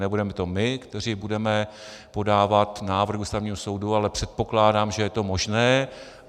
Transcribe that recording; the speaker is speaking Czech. Nebudeme to my, kteří budeme podávat návrh Ústavnímu soudu, ale předpokládám, že je to možné.